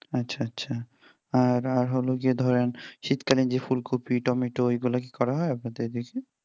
আচ্ছা আচ্ছা আর আর হলো যে ধরেন শীতকালীন যে ফুলকপি টমেটো এগুলো কি করা হয় আপনাদের দিকে?